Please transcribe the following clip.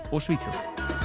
og Svíþjóð